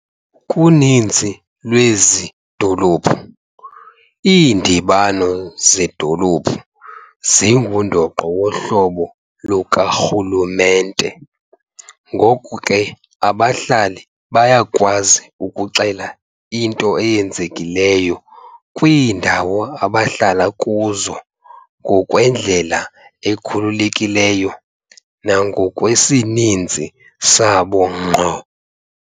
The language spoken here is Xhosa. Kuninzi lwezi dolophu, iindibano zedolophu zingundoqo wohlobo lukarhulumente, ngoko ke abahlali bayakwazi ukuxela into eyenzekileyo kwiindawo abahlala kuzo ngokwendlela ekhululekileyo nangokwesininzi sabo ngqo.